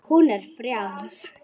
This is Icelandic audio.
Hún er frjáls.